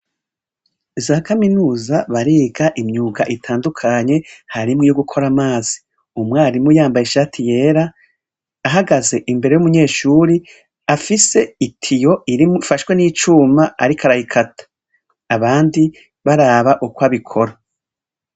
Za Kaminuza bariga imyuga itandukanye harimwo iyo gukora amazi. Umwarimu yambaye ishati yera, ahagaze imbere yumunyeshure afise itiyo ifashwe n'icuma ariko arayikata. Abndi baraba uko bikora.